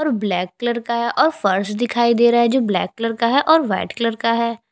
और black colour का है और फर्श दिखाई दे रहा है जो ब्लैक कलर का है और वाइट कलर का है।